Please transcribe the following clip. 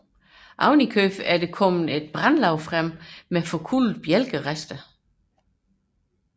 Yderligere er der dukket et brandlag frem med forkullede bjælkerester